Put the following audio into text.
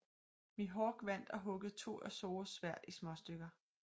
Mihawk vandt og huggede to af Zorros sværd i småstykker